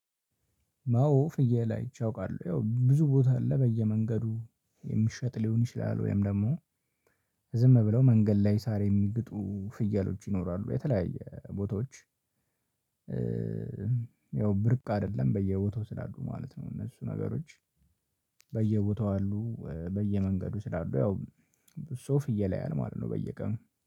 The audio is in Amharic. አዎ ፍየል አይቼ አውቃለሁ፤ ያው ብዙ ቦታ አለ በየመንገዱ የሚሸጥ ሊሆን ይችላል፤ ወይም ደግሞ ዝም ብለው መንገድ ላይ ሳር የሚግጡ ፍየሎች ይኖራሉ የተለያየ ቦታዎች። ያው ብርቅ አይደለም በየቦታው ስላሉ ማለት ነው እነሱ ነገሮች። በየቦታው አሉ፤ በየመንገዱ ስላሉ ያው፤ ሰው ፍየል ያያል ማለት ነው በየቀኑ።